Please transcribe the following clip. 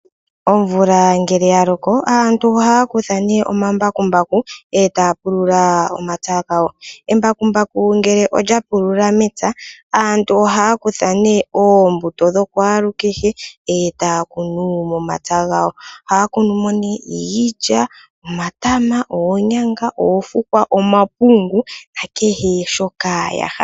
Omvula ngele yaloko aantu ohaya kutha nee omambakumbaku e taya pulula omapya gawo. Embakumbaku ngele olyapulula mepya aantu ohaya kutha oombuto dhokwaalukehe e taya kunu momapya gawo. Ohaya kunu mo iilya, omatama, oonyanga, oofukwa, omapungu nakehe shoka yahala.